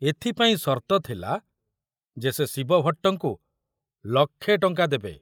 ଏଥିପାଇଁ ସର୍ତ୍ତ ଥିଲା ଯେ ସେ ଶିବଭଟ୍ଟଙ୍କୁ ଲକ୍ଷେ ଟଙ୍କା ଦେବେ।